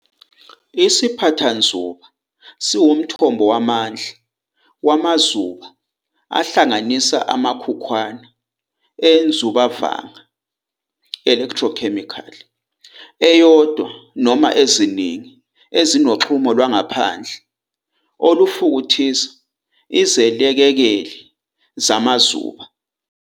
IsiPhathanzuba siwumthombo wamandla wamazuba ahlanganisa amakhukhwana enzubavanga, electrochemical," eyodwa noma eziningi ezinoxhumo lwangaphandle olufukuthisa izilekekeli zamazuba.